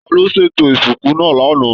Taló ṣètò ìsìnkú náà l'ana?